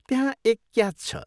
त्यहाँ एक क्याच छ।